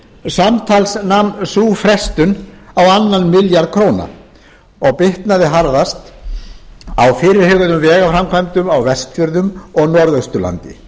samtals nam sú frestun á annan milljarð króna og bitnaði harðast á fyrirhuguðum vegaframkvæmdum á vestfjörðum og norðausturlandi